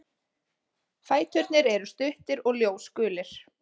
Fæturnir eru stuttir og ljósgulir.